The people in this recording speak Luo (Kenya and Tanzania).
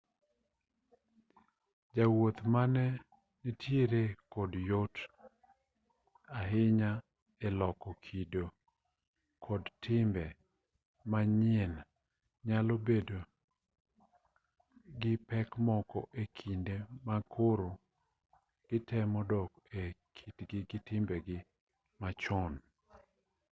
jowuoth mane nitiere kod yot ahinya e loko kido kod timbe manyien nyalo bedo gi pek moko e kinde ma koro gitemo dok e kitgi gi timbegi machon